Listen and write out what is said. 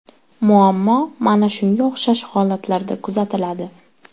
Muammo mana shunga o‘xshash holatlarda kuzatiladi.